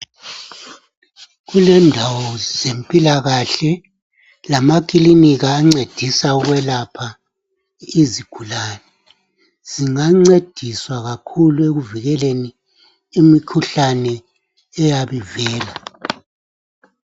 Kulendawo zempilakahle lamakilinika ancedisa ukulapha izigulane. Zingancediswa kakhulu ekuvikeleni imikhuhlane eyabe ivela.